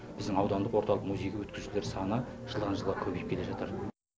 біздің аудандық орталық музейге өткізушілер саны жылдан жылға көбейіп келе жатыр